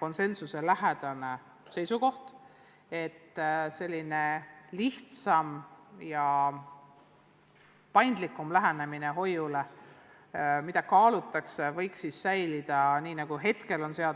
konsensuselähedasele seisukohale, et selline lihtsam ja paindlikum lähenemine lastehoiule võiks säilida nii, nagu see praegu seaduses on.